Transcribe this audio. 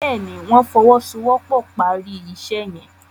Béèni wón fowosowopo pá rí iṣé yen.